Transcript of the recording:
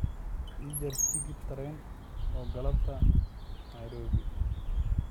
ii jar tigidh tareen oo galabtaa nairobi